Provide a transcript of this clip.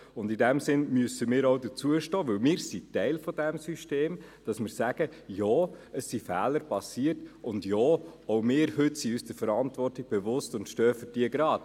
In diesem Sinne müssen wir auch dazu stehen, denn wir sind Teil von diesem System und wir sagen: «Ja, es sind Fehler passiert, und ja, auch wir heute sind uns der Verantwortung bewusst und stehen für diese gerade.